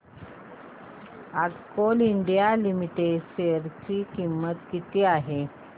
आज Coal India Limited च्या share ची किंमत किती आहे